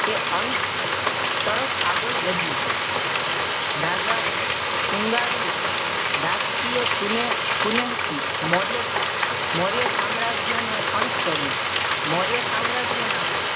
તે અંત તરફ આગળ વધ્યું. રાજા શૃંગારુએ રાજકીય કુનેહ કુનેહ થી મૌર્ય મૌર્ય સામ્રાજ્યનો અંત કર્યો મૌર્ય સામ્રાજ્યના